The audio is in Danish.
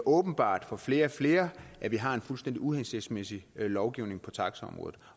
åbenbart for flere og flere at vi har en fuldstændig uhensigtsmæssig lovgivning på taxaområdet